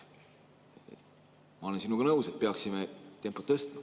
Ma olen sinuga nõus, et peaksime tempot tõstma.